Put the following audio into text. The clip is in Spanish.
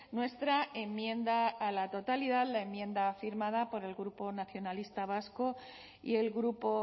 nuestra enmienda a la totalidad la enmienda firmada por el grupo nacionalistas vascos y el grupo